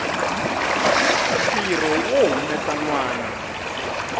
ntirho wo humesa nwana